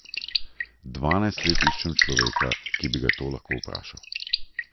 Dvanajst let iščem človeka, ki bi ga to lahko vprašal.